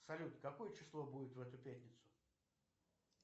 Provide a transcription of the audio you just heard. салют какое число будет в эту пятницу